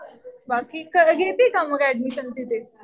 बाकी घेतीय का मग ऍडमिशन तिथे?